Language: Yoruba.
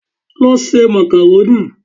Lọ se màkàrónì!